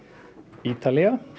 Ítalía